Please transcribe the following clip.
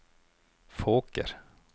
Fåker